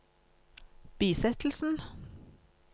bisettelsen